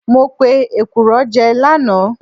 Mo pe èkùrọ́ jẹ lánàá